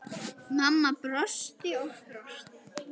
Mamma brosti og brosti.